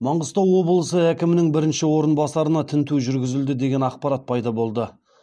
маңғыстау облысы әкімінің бірінші орынбасарына тінту жүргізілді деген ақпарат пайда болды